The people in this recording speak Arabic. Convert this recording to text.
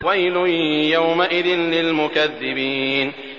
وَيْلٌ يَوْمَئِذٍ لِّلْمُكَذِّبِينَ